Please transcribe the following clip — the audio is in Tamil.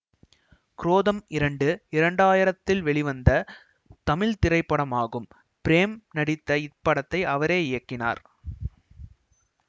குரோதம் இரண்டு இரண்டாயிரத்தில் வெளிவந்த தமிழ் திரைப்படமாகும் பிரேம் நடித்த இப்படத்தை அவரே இயக்கினார்